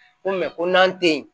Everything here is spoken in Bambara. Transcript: N ko ko n'an tɛ yen